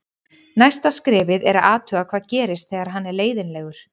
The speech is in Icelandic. Næsta skrefið er að athuga hvað gerist þegar hann er leiðinlegur.